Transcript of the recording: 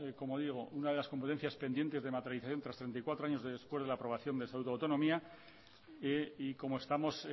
como digo una de las competencias pendientes de materialización tras treinta y cuatro años de después de la aprobación del estatuto de autonomía y como estamos